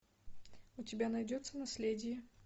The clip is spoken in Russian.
у тебя найдется наследие